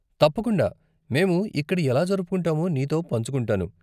తప్పకుండా! మేము ఇక్కడ ఎలా జరుపుకుంటామో నీతో పంచుకుంటాను.